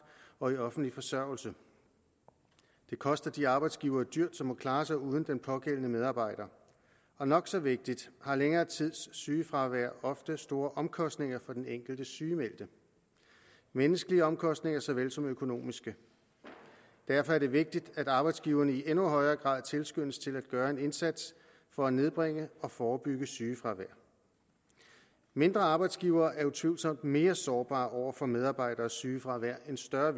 og i offentlig forsørgelse det koster de arbejdsgivere dyrt som må klare sig uden den pågældende medarbejder og nok så vigtigt har længere tids sygefravær ofte store omkostninger for den enkelte sygemeldte menneskelige omkostninger såvel som økonomiske derfor er det vigtigt at arbejdsgiverne i endnu højere grad tilskyndes til at gøre en indsats for at nedbringe og forebygge sygefravær mindre arbejdsgivere er utvivlsomt mere sårbare over for medarbejdernes sygefravær end større